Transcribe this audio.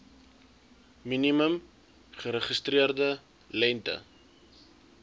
minimum geregistreerde lengte